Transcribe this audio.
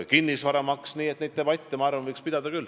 Nii et ma arvan, et neid debatte võiks pidada küll.